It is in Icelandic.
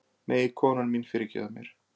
Megi konan mín fyrirgefa mér